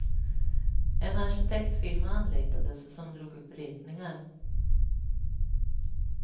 En arkitektfirma anlitades som drog upp ritningar.